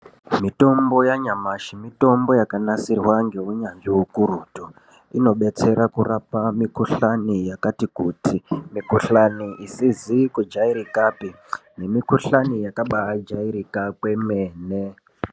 Mitombo yanyamashi mitombo yakanasirwa ngeunyanzvi ukurutu. Inobetsera kurapa mikhuhlani yakati kuti, mikhuhlani isizi kujairikapi nemikhuhlani yakabaajairika kwemene.